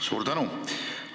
Suur tänu!